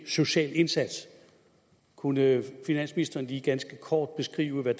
social indsats kunne finansministeren lige ganske kort beskrive hvad